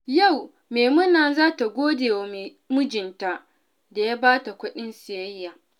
Yau, Maimuna za ta gode wa mijinta da ya ba ta kuɗin siyayya.